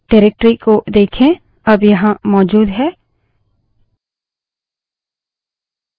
निर्देशिका directory को देखें अब यहाँ मौजूद है